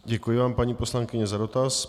Děkuji vám, paní poslankyně za dotaz.